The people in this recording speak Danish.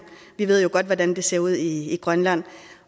ved vi jo godt hvordan det ser ud i grønland